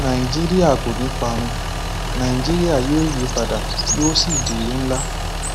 nàìjíríà kò ní í parun nàìjíríà yóò yípadà yóò sì di ìlú ńlá